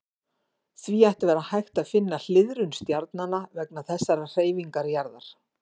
Því ætti að vera hægt að finna hliðrun stjarnanna vegna þessarar hreyfingar jarðar.